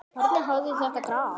Hvernig hafði þetta gerst?